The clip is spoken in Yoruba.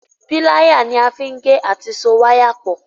Píláyà ní a fín gè àti so waya pọ